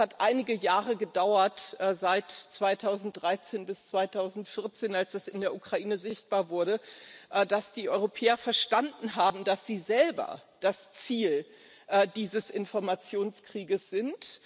Es hat einige Jahre gedauert seit 2013 bis 2014, als es in der Ukraine sichtbar wurde dass die Europäer verstanden haben, dass sie selber das Ziel dieses Informationskriegs sind.